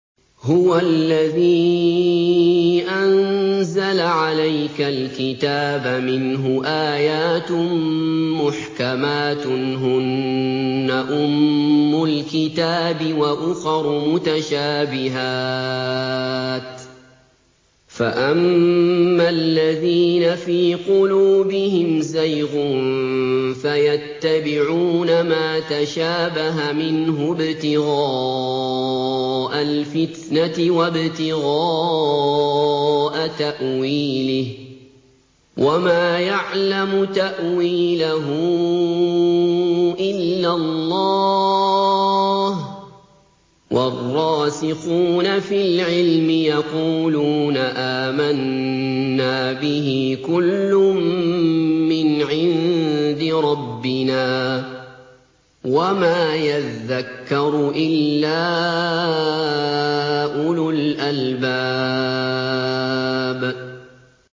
هُوَ الَّذِي أَنزَلَ عَلَيْكَ الْكِتَابَ مِنْهُ آيَاتٌ مُّحْكَمَاتٌ هُنَّ أُمُّ الْكِتَابِ وَأُخَرُ مُتَشَابِهَاتٌ ۖ فَأَمَّا الَّذِينَ فِي قُلُوبِهِمْ زَيْغٌ فَيَتَّبِعُونَ مَا تَشَابَهَ مِنْهُ ابْتِغَاءَ الْفِتْنَةِ وَابْتِغَاءَ تَأْوِيلِهِ ۗ وَمَا يَعْلَمُ تَأْوِيلَهُ إِلَّا اللَّهُ ۗ وَالرَّاسِخُونَ فِي الْعِلْمِ يَقُولُونَ آمَنَّا بِهِ كُلٌّ مِّنْ عِندِ رَبِّنَا ۗ وَمَا يَذَّكَّرُ إِلَّا أُولُو الْأَلْبَابِ